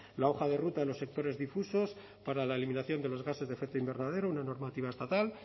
la hoja de ruta de los sectores difusos para la eliminación de los gases de efecto invernadero una normativa estatal